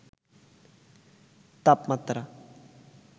তাপমাত্রা